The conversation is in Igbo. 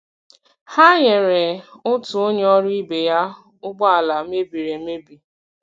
Ha nyere otu onye ọrụ ibe ya ụgbọ ala mebiri emebi.